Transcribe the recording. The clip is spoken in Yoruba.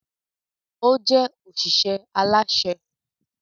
O jẹ oṣiṣẹ alaṣẹ